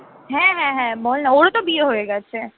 হ্যাঁ হ্যাঁ হ্যাঁ বল না ওরো তো বিয়ে হয়ে গেছে